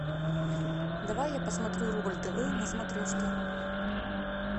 давай я посмотрю рубль тв на смотрешке